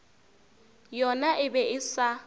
yona e be e sa